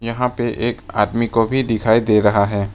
यहां पे एक आदमी को भी दिखाई दे रहा है।